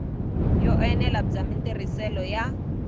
yo enela bya matirhiselo ya